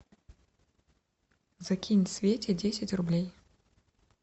закинь свете десять рублей